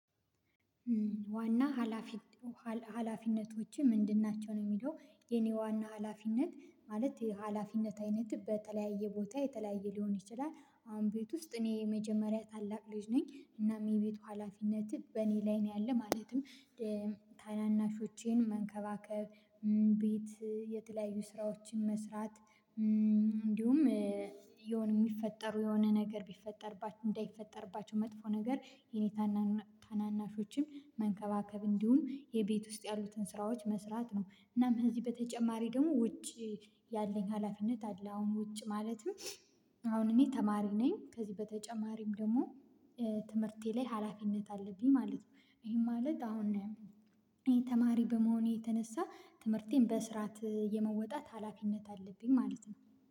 ዋና ሀላፊ ሀላፊነቶችህ ምንድን ናቸው? ነው የሚለው የኔ ዋና ሀላፊነት ማለት የሀላፊነት አይነት በተለያየ ቦታ የተለያየ ሊሆን ይችላል። አሁን ቤት ውስጥ እኔ የመጀመሪያ ታላቅ ልጅ ነኝ እናም የቤቱ ሀላፊነትህ በእኔ ላይ ነው ያለ ማለትም ታናናሾቼን መንከባከብ ቤት የተለያዩ ስራዎችን መስራት። እንዲሁም የሆነ የሚፈጠሩ የሆነ ነገር ቢፈጠርባቸው እንዳይፈጠርባቸው መጥፎ ነገር የኔ ታናናሾችም መንከባከብ እንዲሁም የቤት ውስጥ ያሉትን ስራዎች መስራት ነው። እናም ከዚህ በተጨማሪ ደግሞ ውጪ ያለኝ ሀላፊነት አለ። አሁን ውጪ ማለትም አሁን እኔ ተማሪ ነኝ። ከዚህ በተጨማሪም ደግሞ ትምህርቴ ላይ ሀላፊነት አለብኝ ማለት ነው። ይሄ ማለት አሁን እኔ ተማሪ በመሆኔ የተነሳ ትምህርቴን በስርዓት የመወጣት ሀላፊነት አለብኝ ማለት ነው